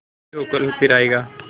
जो भी हो कल फिर आएगा